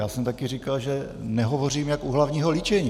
Já jsem také říkal, že nehovořím jak u hlavního líčení.